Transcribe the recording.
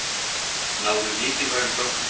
Náðu mikilvægum gögnum